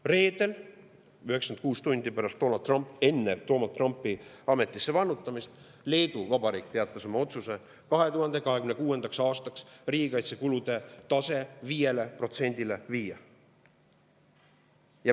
Reedel, 96 tundi enne Trumpi ametisse vannutamist, teatas Leedu Vabariik oma otsusest viia 2026. aastaks riigikaitsekulude tase 5%-le.